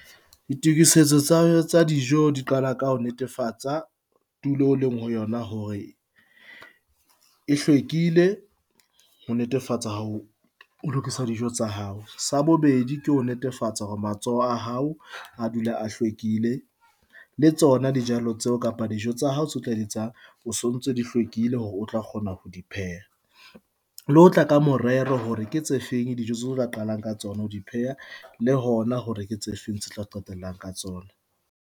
Ditokisetso tsa dijo di qala ka ho netefatsa tulo o leng ho yona hore e hlwekile ho netefatsa ho ho lokisa dijo tsa hao. Sa bobedi, ke ho netefatsa hore matsoho a hao a dula a hlwekile le tsona dijalo tseo kapa dijo tsa hao se tla di etsang o sontso di hlwekile hore o tla kgona ho di pheha. Le ho tla ka morero hore ke tse feng dijo tsetlo qalang ka tsona ho di pheha le hona hore ke tse feng tse qetellang ka tsona.